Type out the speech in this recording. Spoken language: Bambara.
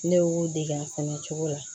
Ne y'u dege a kɔnɔ cogo la